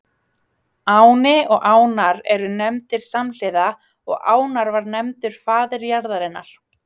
Áni og Ánar eru nefndir samhliða og Ánar var nefndur faðir jarðarinnar.